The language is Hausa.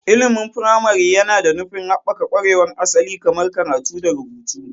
Ilimin firamare yana da nufin haɓaka ƙwarewar asali kamar karatu da rubutu.